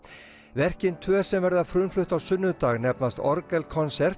verkin tvö sem verða frumflutt á sunnudag nefnast